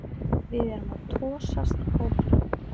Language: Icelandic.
Við erum að tosast áfram